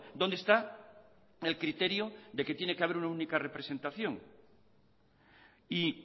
dónde está el criterio de que tiene que haber una única representación y